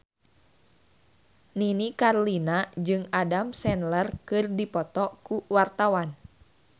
Nini Carlina jeung Adam Sandler keur dipoto ku wartawan